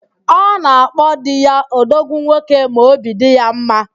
Ọ na-akpo di ya "odogwu nwoke" ma óbì dị ya mma